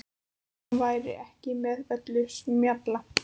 Hún væri ekki með öllum mjalla.